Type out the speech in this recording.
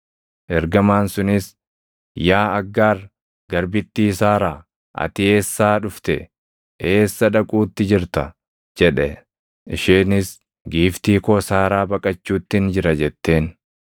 Ergamaan sunis, “Yaa Aggaar, garbittii Saaraa, ati eessaa dhufte? Eessa dhaquutti jirta?” jedhe. Isheenis, “Giiftii koo Saaraa baqachuuttin jira” jetteen.